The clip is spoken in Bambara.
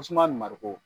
Suma nin mariko